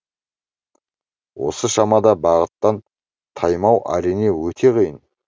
осы шамада бағыттан таймау әрине өте қиын